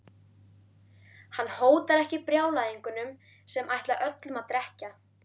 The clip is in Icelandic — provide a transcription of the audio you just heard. Hann hótar ekki brjálæðingunum sem ætla öllum að drekkja.